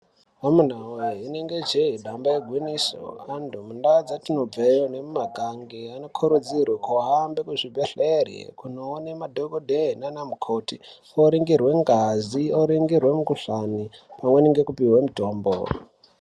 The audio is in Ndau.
Amuna voye rinenge jee damba igwinyiso. Antu mundaa dzatinobveyo nemumage anokurudzirwe kuhambe kuzvibhedhlere kunoone madhogodheye nana mukoti, oringirwe ngazi, oringirwe mukuhlani, pamweni ngekupuhwe mutombo.